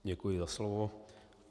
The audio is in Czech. Děkuji za slovo.